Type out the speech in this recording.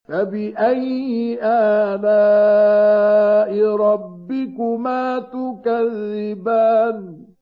فَبِأَيِّ آلَاءِ رَبِّكُمَا تُكَذِّبَانِ